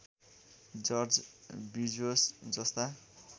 George Bezos जस्ता